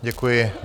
Děkuji.